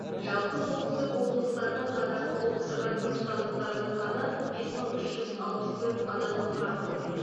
жалпы солтүстік облыстардың қатарын толықтырған түркістандықтардың саны бес мың үш жүз алпыс төрт адамды құрап отыр